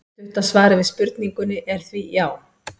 Stutta svarið við spurningunni er því já!